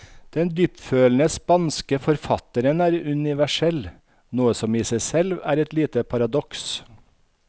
Den dyptfølende spanske forfatteren er universell, noe som i seg selv er et lite paradoks.